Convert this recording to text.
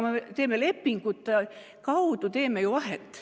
Me teeme lepingute kaudu ju vahet.